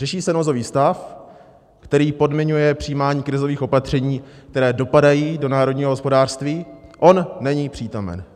Řeší se nouzový stav, který podmiňuje přijímání krizových opatření, které dopadají do národního hospodářství, on není přítomen.